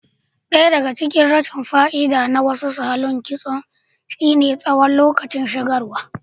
Ɗaya daga cikin rashin fa'idar na wasu salon kitson shine tsawon lokacin shigarwa.